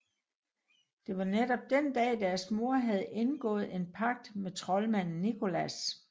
Det var netop den dag deres mor havde indgået en pagt med troldmand Nicholas